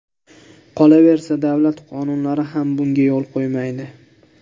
Qolaversa, davlat qonunlari ham bunga yo‘l qo‘ymaydi.